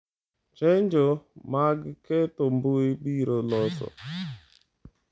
Chenjo' mag ketho mbui biro loso